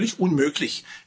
Das ist völlig unmöglich.